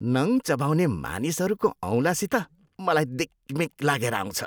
नङ चबाउने मानिसहरूको औँलासित मलाई दिगमिग लागेर आउँछ।